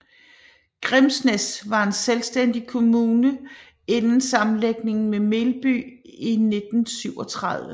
Grimsnæs var en selvstændig kommune inden sammenlægning med Melby i 1937